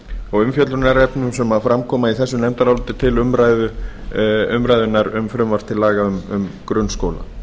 og umfjöllunarefnum sem fram koma í þessu nefndaráliti til umræðunnar um frumvarp til laga um grunnskóla